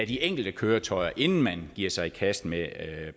de enkelte køretøjer inden man giver sig i kast med